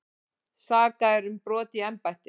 Sakaðir um brot í embætti